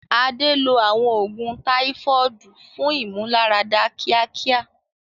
Adé lo àwọn oògùn Táífọ́ọ̀dù fún ìmúláradá kíákíá.